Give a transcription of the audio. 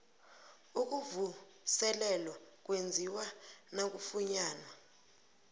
ukuvuselelwa kwenziwa nakufunyanwa